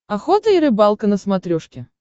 охота и рыбалка на смотрешке